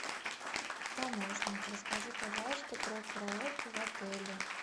помощник расскажи пожалуйста про караоке в отеле